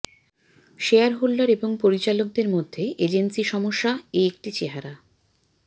shareholder এবং পরিচালকদের মধ্যে এজেন্সি সমস্যা এ একটি চেহারা